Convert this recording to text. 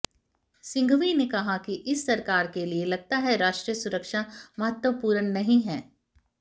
सिंघवी ने कहा कि इस सरकार के लिये लगता है राष्ट्रीय सुरक्षा महत्वपूर्ण नहीं है